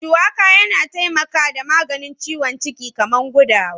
Suwaka na taimaka da maganin ciwon ciki kaman gudawa.